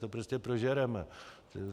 To prostě prožereme.